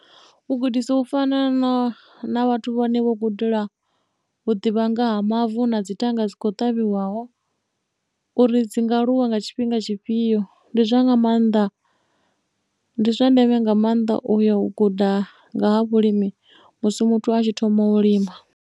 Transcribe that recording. U gudisa u fana na vhathu vhane vho gudela ḓivha nga ha mavu na dzithanga dzi kho ṱavhiwaho uri dzi nga aluwa nga tshifhinga tshifhio ndi zwa nga maanḓa ndi zwa ndeme nga maanḓa uya u guda nga ha vhulimi musi muthu a tshi thoma u lima.